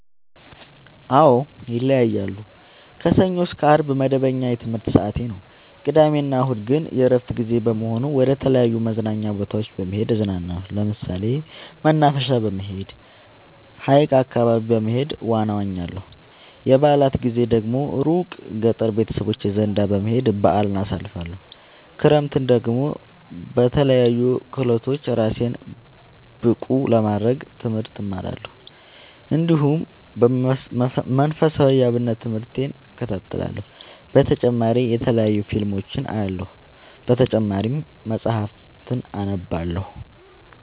አዎ ይለያያለሉ። ከሰኞ እስከ አርብ መደበኛ የትምህርት ሰዓቴ ነው። ቅዳሜ እና እሁድ ግን የእረፍት ጊዜ በመሆኑ መደተለያዩ መዝናኛ ቦታዎች በመሄድ እዝናናለሁ። ለምሳሌ መናፈሻ በመሄድ። ሀይቅ አካባቢ በመሄድ ዋና እዋኛለሁ። የበአላት ጊዜ ደግሞ እሩቅ ገጠር ቤተሰቦቼ ዘንዳ በመሄድ በአልን አሳልፍለሁ። ክረምትን ደግሞ በለያዩ ክህሎቶች እራሴን ብቀሐ ለማድረግ ትምህርት እማራለሁ። እንዲሁ መንፈሳዊ የአብነት ትምህርቴን እከታተላለሁ። በተጨማሪ የተለያዩ ፊልሞችን አያለሁ። በተጨማሪም መፀሀፍትን አነባለሁ።